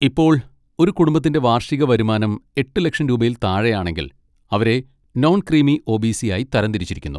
ഇപ്പോൾ, ഒരു കുടുംബത്തിന്റെ വാർഷിക വരുമാനം എട്ട് ലക്ഷം രൂപയിൽ താഴെയാണെങ്കിൽ, അവരെ നോൺ ക്രീമി ഒ.ബി.സി. ആയി തരം തിരിച്ചിരിക്കുന്നു.